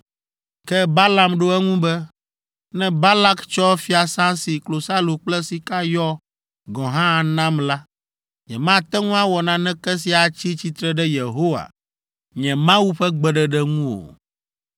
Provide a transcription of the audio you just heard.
Ke Balaam ɖo eŋu be, “Ne Balak tsɔ fiasã si klosalo kple sika yɔ gɔ̃ hã anam la, nyemate ŋu awɔ naneke si atsi tsitre ɖe Yehowa, nye Mawu ƒe gbeɖeɖe ŋu o.